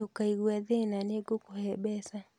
Ndukaigue thĩna nĩ ngũkũhe mbeca